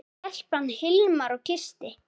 Stelpan sem Hilmar kyssti.